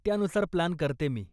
त्यानुसार प्लान करते मी.